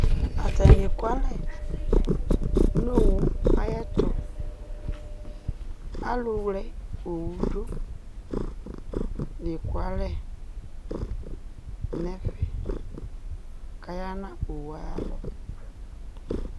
Atanɩ ekualɛ nʋ owu ayɛtʋ, alʋwle owu dʋ la ekualɛ nʋ ɛfɛ, kʋ aya nʋ owu ayʋ alɔ